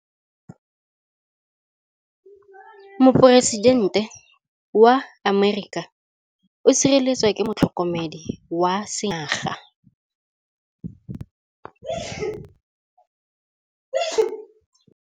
Poresitêntê wa Amerika o sireletswa ke motlhokomedi wa sengaga.